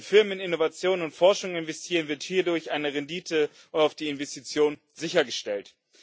Wenn Firmen in Innovation und Forschung investieren, wird hierdurch eine Rendite auf die Investition sichergestellt.